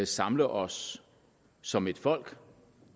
samle os som et folk og